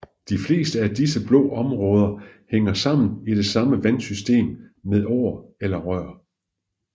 De fleste af disse blå områder hænger sammen i det samme vandsystem med åer eller rør